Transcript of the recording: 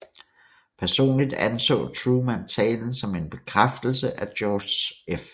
Personligt anså Truman talen som en bekræftelse af George F